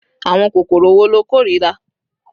Àwọn kòkòrò wo lo kórìíra?